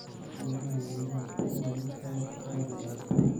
Qiimaha yaanyada waa mid aad qaali u ah